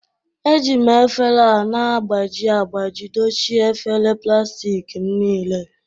Eji m efere a na-agbaji agbaji dochie efere plastik m niile